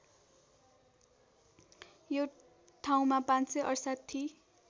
यो ठाउँमा ५६८